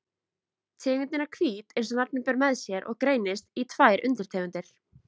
Tegundin er hvít eins og nafnið ber með sér og greinist í tvær undirtegundir.